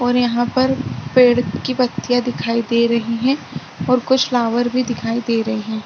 और यहाँ पर पेड की पत्तिया दिखाई दे रही है और कुछ फ्लावर भी दिखाई दे रही।